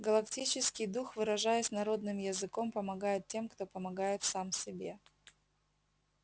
галактический дух выражаясь народным языком помогает тем кто помогает сам себе